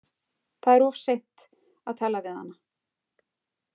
Það er of seint að tala við hana.